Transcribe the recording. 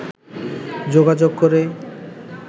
যোগাযোগ করে